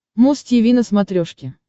муз тиви на смотрешке